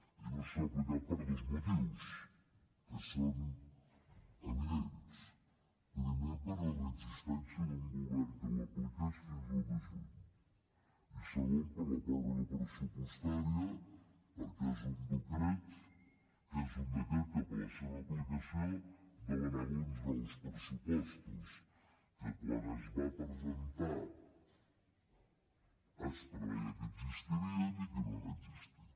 i no s’ha aplicat per dos motius que són evidents primer per la inexistència d’un govern que l’apliqués fins a l’un de juny i segon per la pròrroga pressupostària perquè és un decret que per a la seva aplicació demanava uns nous pressupostos que quan es va presentar es preveia que existirien i que no han existit